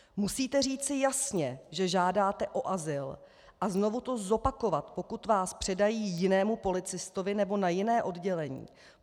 Musíte říci jasně, že žádáte o azyl, a znovu to zopakovat, pokud vás předají jinému policistovi nebo na jiné oddělení.